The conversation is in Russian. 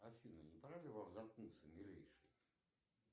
афина не пора ли вам заткнуться милейший